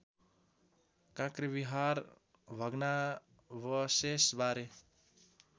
काँक्रेबिहार भग्नावशेष बारे